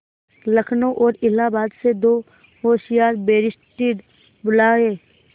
लखनऊ और इलाहाबाद से दो होशियार बैरिस्टिर बुलाये